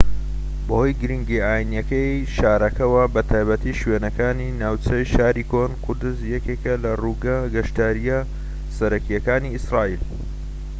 بەهۆی گرنگییە ئاینیەکەی شارەکەوە بە تایبەتی شوێنەکانی ناوچەی شاری کۆن قودس یەکێکە لە ڕووگە گەشتیاریە سەرەکیەکانی ئیسرائیل